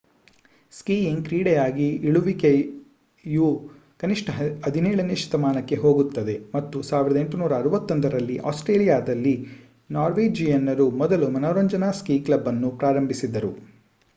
skiing ಕ್ರೀಡೆಯಾಗಿ ಇಳಿಯುವಿಕೆಯು ಕನಿಷ್ಠ 17 ನೇ ಶತಮಾನಕ್ಕೆ ಹೋಗುತ್ತದೆ ಮತ್ತು 1861 ರಲ್ಲಿ ಆಸ್ಟ್ರೇಲಿಯಾದಲ್ಲಿ ನಾರ್ವೇಜಿಯನ್ನರು ಮೊದಲ ಮನರಂಜನಾ ಸ್ಕೀ ಕ್ಲಬ್ ಅನ್ನು ಪ್ರಾರಂಭಿಸಿದರು